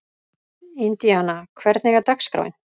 Indíana, hvernig er dagskráin?